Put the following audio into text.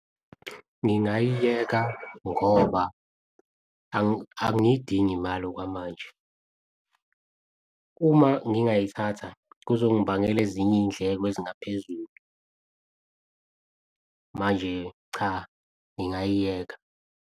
Ngingayiyeka ngoba angiyidingi imali okwamanje. Uma ngingayithatha kuzongibangela ezinye iy'ndleko ezingaphezulu. Manje cha, ngingayiyeka.